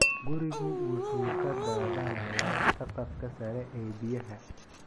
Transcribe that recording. Gurigu wuxuu ka daadanayaa saqafka sare ee biyaha.